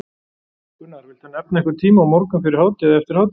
Gunnar: Viltu nefna einhvern tíma, á morgun, fyrir hádegi, eftir hádegi?